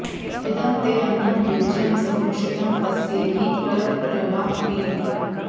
इ॒दं ते॒ अन्नं॒ युज्यं॒ समु॑क्षितं॒ तस्येहि॒ प्र द्र॑वा॒ पिब॑